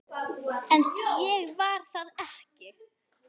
En ég var það ekki.